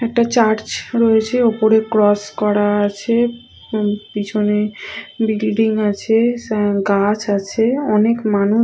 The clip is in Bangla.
একটা চার্চ রয়েছে ওপরে ক্রস করা আছে পেছনে বিল্ডিং আছে গাছ আছে মানুষ--